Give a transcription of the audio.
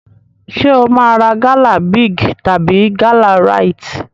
Ṣé o máa ra gala Big tàbí gala Rite?